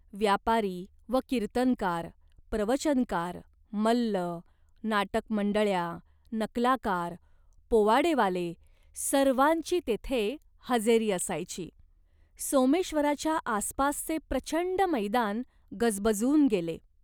व्यापारी व कीर्तनकार, प्रवचनकार, मल्ल, नाटकमंडळ्या, नकलाकार, पोवाडेवाले सर्वांची तेथे हजेरी असायची. सोमेश्वराच्या आसपासचे प्रचंड मैदान गजबजून गेले.